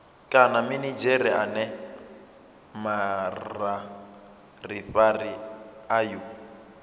kana minidzhere ane mavharivhari ayo